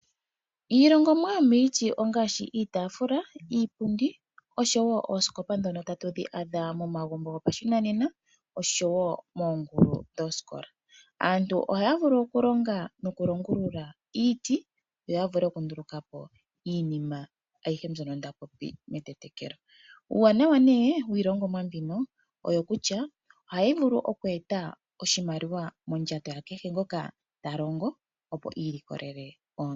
Iihongomwa yomomiti ongaashi iitaafula, iipundi osho woo oosikopa ndhono hadhi adhika momagumbo gopashinanena nomoongulu dhoosikola. Aantu ohaya vulu okulonga nokulongulula iiti noya vule oku ndulukapo iinima yomaludhi gayoolokatha. Uuna omuntu anduluka po iihongomwa miiti ota vulu okuyi landithapo opo a wape eyi landithepo ye iimonene mo iimaliwa.